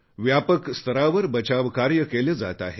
व्यापक स्तरावर बचावकार्य केले जात आहे